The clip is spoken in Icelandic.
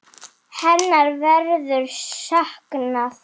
Hennar verður saknað.